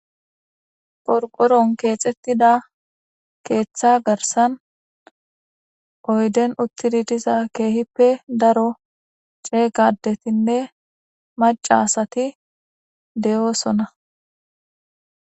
porqoron keexettida keeththa garsan oyden uttidi diza keehippe daro ceeygadetinne macasati de7oosona